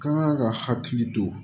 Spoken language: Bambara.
Kan ka hakili to